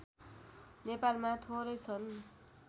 नेपालमा थोरै छन्